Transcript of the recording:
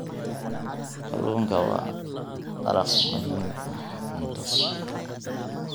Kalluunka waa dalag muhiim ah oo cunto.